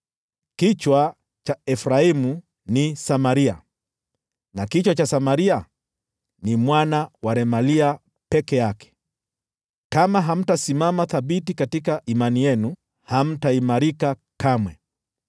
Kichwa cha Efraimu ni Samaria, na kichwa cha Samaria ni mwana wa Remalia peke yake. Kama hamtasimama thabiti katika imani yenu, hamtaimarika kamwe.’ ”